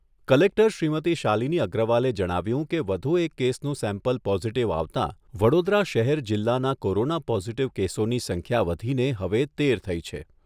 Collector Shrimati Shalini અગ્રવાલે જણાવ્યુંં કે વધુ એક કેસનું સેમ્પલ પોઝિટિવ આવતાં, વડોદરા શહેર જિલ્લાના કોરોના પોઝિટિવ કેસોની સંખ્યા વધીને હવે તેર થઈ છે.